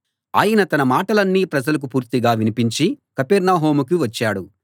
ఆయన తన మాటలన్నీ ప్రజలకు పూర్తిగా వినిపించి కపెర్నహూముకి వచ్చాడు